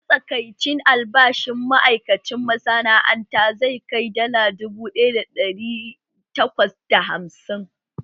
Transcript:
Matsakaicin albashin ma’aikacin masana’anta zai kai dala dubu ɗaya da ɗari takwas da hamsin